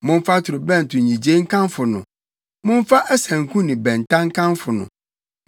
Momfa torobɛnto nnyigyei nkamfo no, momfa asanku ne bɛnta nkamfo no,